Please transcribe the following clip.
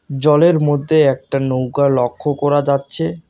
জলের মধ্যে একটা নৌকা লক্ষ্য করা যাচ্ছে।